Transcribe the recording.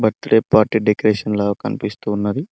Party decoration లా కనిపిస్తు ఉన్నది.